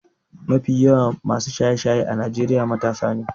Mafi yawan masu shaye-shaye a Najeriya matasa ne.